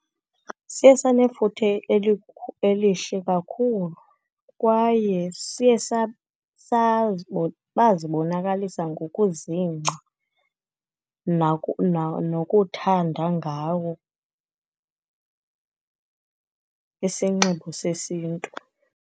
Siye sanefuthe elihle kakhulu, kwaye siye bazibonakalisa ngokuzingca nokuthanda ngawo isinxibo sesiNtu.